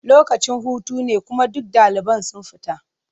Lokacin hutu ne kuma duk ɗaliban sun fita.